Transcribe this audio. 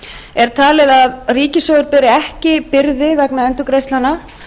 er talið að ríkissjóður beri ekki byrði vegna endurgreiðslnanna